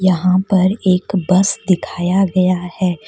यहां पर एक बस दिखाया गया है।